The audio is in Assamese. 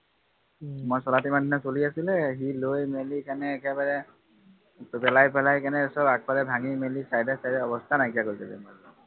মই চলাওতে ইমান দিনে চলি আছিলে সি লৈ মেলি কিনে একদম পেলাই পেলাই কিনে সব আগফালে ভাঙি মেলি side side অৱস্থা নাইকিয়া কৰি দিলে